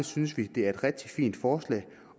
synes vi at det er et rigtig fint forslag